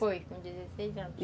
Foi, com dezesseis anos.